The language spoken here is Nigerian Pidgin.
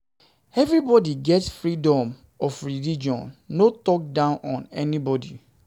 Everybody get freedom of leligion no talk down on any one